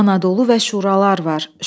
Anadolu və şuralar var.